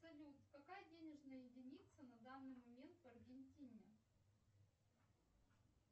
салют какая денежная единица на данный момент в аргентине